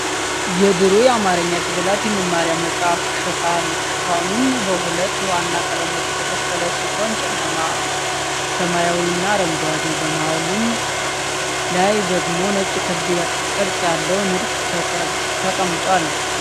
የድሮ የአማርኛ ፊደላት የመማሪያ መጽሐፍ ሽፋን ፤ ሽፋኑም በሁለት ዋና ቀለሞች የተከፈለ ሲሆን (ጨለማ ሰማያዊ እና አረንጓዴ)፣ በመሃሉ ላይ ደግሞ ነጭ ክብ ቅርጽ ያለው ንድፍ ተቀምጧል።